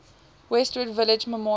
westwood village memorial